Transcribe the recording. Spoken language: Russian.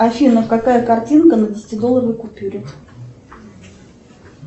афина какая картинка на десятидолларовой купюре